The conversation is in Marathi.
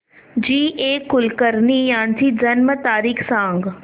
जी ए कुलकर्णी यांची जन्म तारीख सांग